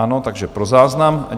Ano, takže pro záznam.